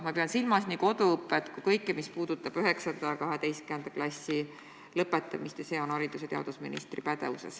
Ma pean silmas nii koduõpet kui ka kõike seda, mis puudutab 9. ja 12. klassi lõpetamist – see on haridus- ja teadusministri pädevuses.